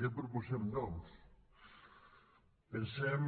què proposem doncs pensem